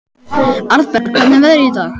Arnberg, hvernig er veðrið í dag?